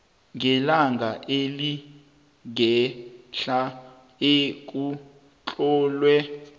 ngelanga elingehla ekutlolwe